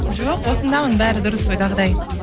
жоқ осындамын бәрі дұрыс ойдағыдай